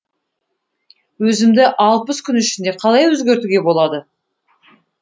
өзімді алпыс күн ішінде қалай өзгертуге болады